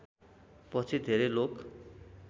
पछि धेरै लोक